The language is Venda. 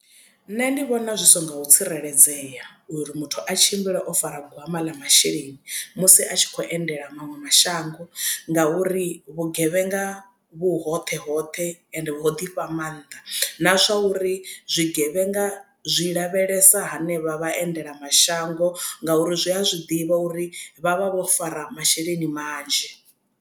Nṋe ndi vhona zwi songo tsireledzea uri muthu a tshimbile o fara gwama ḽa masheleni musi a tshi kho endela maṅwe mashango ngauri vhugevhenga vhu hoṱhe hoṱhe ende ho ḓifha maanḓa na zwa uri zwigevhenga zwi lavhelesa hanevha vhaendela mashango ngauri zwi a zwiḓivha uri vha vha vho fara masheleni manzhi.